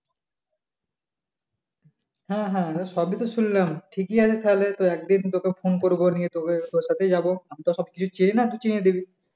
হ্যাঁ হ্যাঁ সবই তো শুনলাম ঠিকই আছে তাহলে একদিন তোকে ফোন করবো নিয়ে তোকে তোর সাথেই যাব আমি তো সবকিছু চিনি না তুই চিনিয়ে দিবি